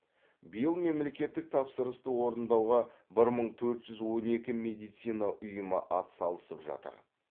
биыл мемлекеттік тапсырысты орындауға бір мың төрт жүз он екі медицина ұйымы атсалысып жатыр